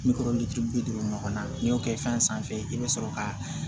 Bi kɔnɔntɔn ni duuru bi duuru ɲɔgɔnna n'i y'o kɛ fɛn sanfɛ i bɛ sɔrɔ ka